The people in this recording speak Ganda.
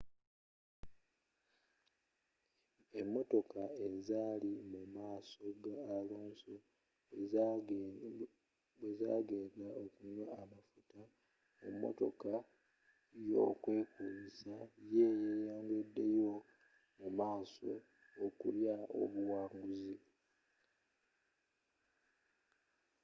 emotoka ezaali mu maaso ga alonso bwe zagenda okunywa amafuta mu motoka yokwekumisa yeyongeddeyo mu maaso okulya obuwanguzi